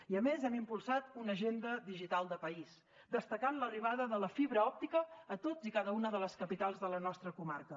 i a més hem impulsat una agenda digital de país destacant l’arribada de la fibra òptica a totes i cada una de les capitals de les nostres comarques